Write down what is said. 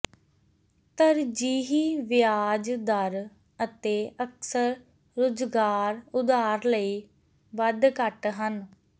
ਤਰਜੀਹੀ ਵਿਆਜ ਦਰ ਅਤੇ ਅਕਸਰ ਰੁਜ਼ਗਾਰ ਉਧਾਰ ਲਈ ਵੱਧ ਘੱਟ ਹਨ